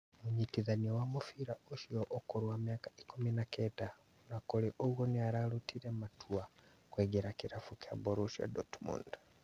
Mũnyitithania wa mũbĩra ũcio ũkũrũ wa mĩaka ikũmi na kenda - ona kũrĩ ũguo nĩaratuire matua ma kuingĩra kĩrabu kĩa Borussia Dortmund